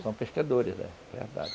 São pescadores, é, verdade.